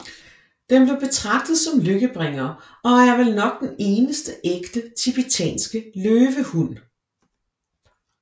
Den blev betragtet som lykkebringer og er vel nok den eneste ægte TIBETANSKE LØVEHUND